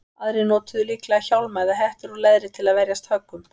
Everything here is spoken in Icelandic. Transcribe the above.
Aðrir notuðu líklega hjálma eða hettur úr leðri til að verjast höggum.